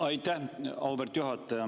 Aitäh, auväärt juhataja!